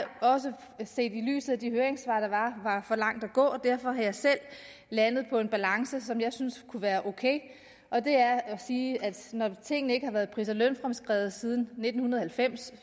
også set i lyset af de høringssvar der var var for langt at gå derfor er jeg selv landet på en balance som jeg synes kunne være okay og det er at sige at når tingene ikke har været pris og lønfremskrevet siden nitten halvfems